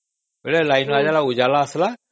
light ଟା ଆସିଲା ମାନେ ଉଜାଲା ଆସିଲା